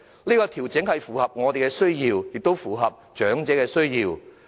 這項調整切合我們的需要，亦切合長者的需要。